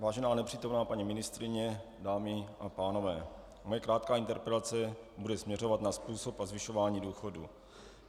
Vážená nepřítomná paní ministryně, dámy a pánové, moje krátká interpelace bude směřovat na způsob a zvyšování důchodů.